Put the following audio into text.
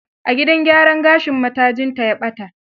A gidan gyaran gashin matajinta ya ɓata.